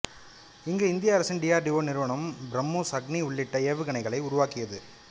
இங்கு இந்திய அரசின் டி ஆர் டி ஓ நிறுவனம் பிரமோஸ் அக்னி உள்ளிட்ட ஏவுகணைகளை உருவாக்கியது